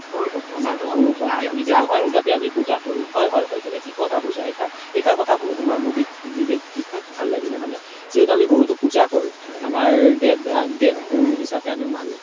হয় হয় তুমি থিক কথা কৈছা এই আখাৰ এই আখাৰ শুনি তুমাৰ মোৰ বিষেস ভাল লাগিলে মানে যিহেতু আমি গৰুটোক পুজা কৰো আমাৰ দেৱ গুৰো হিচাপে মানো